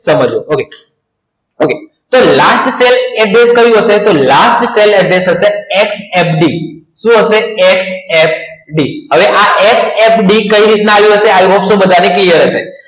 તો last cell address થશે ffd હવે આ ffd કેવી રીતના બધાને clear હશે વે આ ffd કઈ રીતના આવ્યું હશે આ વસ્તુ બધાને clear હશે